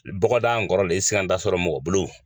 Bɔgɔda in kɔrɔlen siganda sɔrɔ mɔgɔ bolo.